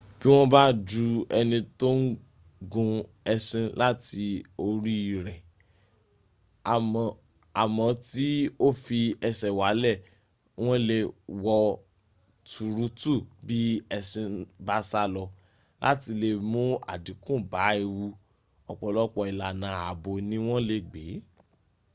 bí wọ́n bá ju ẹni tó ń gun eṣin láti oríirẹ̀ à mó tí o fi ẹṣẹ̀ walẹ̀ wọ́n lè wọ́ tuurutu bí ẹṣin bá sálọ. láti lè mún àdínkù bá ewu ọ̀pọ̀lọpọ̀ ìlànà ààbò ni wọ́n lè gbé